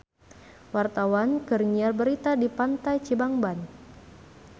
Wartawan keur nyiar berita di Pantai Cibangban